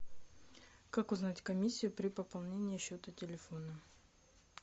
как узнать комиссию при пополнении счета телефона